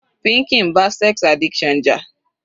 Pinky ń bá sex addiction jà.